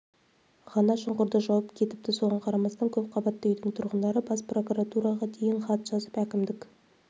ғана шұңқырды жауап кетіпті соған қарамастан көпқабатты үйдің тұрғындары бас прокуратураға дейін хат жазып әкімдік